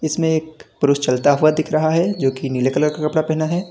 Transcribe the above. इसमें एक पुरुष चलता हुआ दिख रहा है जोकि नीले कलर का कपड़ा पहना है।